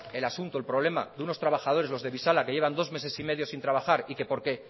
el asunto el problema de unos trabajadores los de bizala que llevan dos meses y medio sin trabajar y que porque